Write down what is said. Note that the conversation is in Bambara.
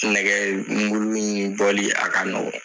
Nɛgɛ in bɔli a ka nɔgɔ.